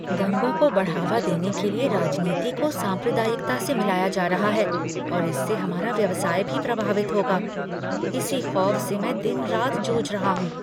दंगों को बढ़ावा देने के लिए राजनीति को सांप्रदायिकता से मिलाया जा रहा है और इससे हमारा व्यवसाय भी प्रभावित होगा। इसी ख़ौफ़ से मैं दिन रात जूझ रहा हूँ।